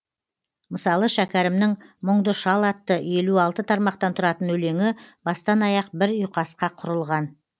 мысалы шәкәрімнің мұңды шал атты елу алты тармақтан тұратын өлеңі бастан аяқ бір ұйқасқа құрылған